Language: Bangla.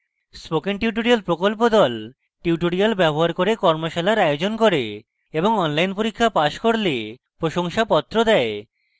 spoken tutorial প্রকল্প the